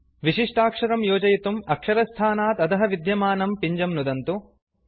विशिष्टाक्षरं योजयितुं अक्षरस्थानात् अधः विद्यमानं पिञ्जं नुदन्तु